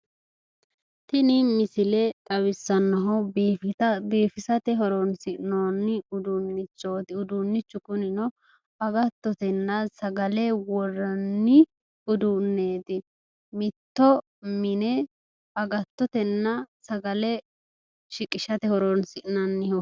Tini misile xawissannohu biifisa. biifisate horonsi'noonni uduunnichooti. uduunnichu kunino agattotenna sagale worranni uduunneeti. mitto mine agattotenna sagale shiqishate horonsi'nanniho.